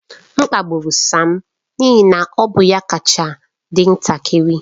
M kpagburu Sam n'ihi na ọ bụ ya kacha dị ntakịrị.